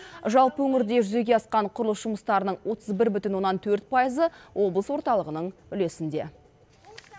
жалпы өңірде жүзеге асқан құрылыс жұмыстарының отыз бір бүтін оннан төрт пайызы облыс орталығының үлесінде